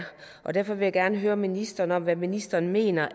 derfor vil jeg gerne høre ministeren hvad ministeren mener